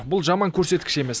бұл жаман көрсеткіш емес